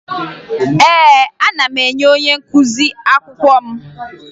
Ee, ana m enye onye nkụzi akwụkwọ m